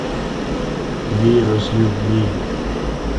вирус любви